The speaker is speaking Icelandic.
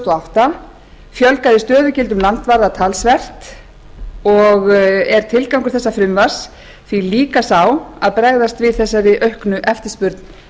átta fjölgaði stöðugildum landvarða talsvert og er tilgangur frumvarpsins því líka sá að bregðast við aukinni eftirspurn